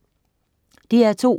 DR2: